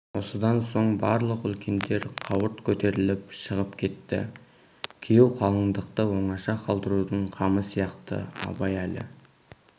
осыдан сөн барлық үлкендер қауырт көтеріліп шығып кетті күйеу қалыңдықты оңаша қалдырудың қамы сияқты абай әлі